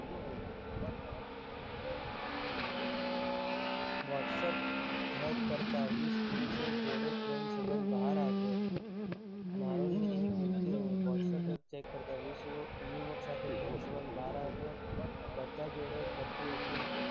whatsapp hack કરતા વીસ પુરુષ જોડે પ્રેમ સંબંધ બહાર આવ્યો. નારોલની એક યુવતી નું whatsapp account hack કરતા વીસ યુવક સાથે પ્રેમ સંબંધ બહાર આવ્યો. બધા જોડે કરતી હતી